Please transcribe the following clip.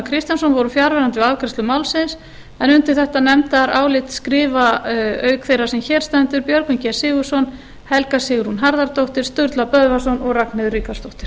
kristjánsson voru fjarverandi við afgreiðslu málsins undir þetta nefndarálit skrifa auk þeirrar sem hér stendur björgvin g sigurðsson helga sigrún harðardóttir sturla böðvarsson og ragnheiður ríkharðsdóttir